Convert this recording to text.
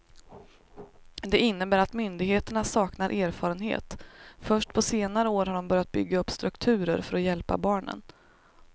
Det innebär att myndigheterna saknar erfarenhet, först på senare år har de börjat bygga upp strukturer för att hjälpa barnen.